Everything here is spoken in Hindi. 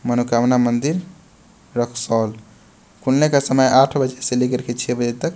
मनोकामना मंदिर रक्सौल खुलने का समय आठ बजे से लेकर के छः बजे तक।